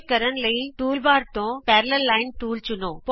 ਇਹ ਕਰਨ ਲਈ ਟੂਲਬਾਰ ਤੋਂ ਪੈਰਾਲਲ ਲਾਈਨ ਟੂਲ ਚੁਣੋ